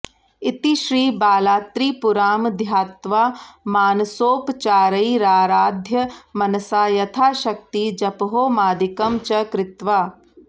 इति श्री बालात्रिपुरां ध्यात्वा मानसोपचारैराराध्य मनसा यथाशक्ति जपहोमादिकं च कृत्वा